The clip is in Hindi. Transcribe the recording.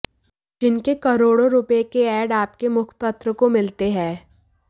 जिनके करोड़ों रुपये के एड आपके मुखपत्र को मिलते हैं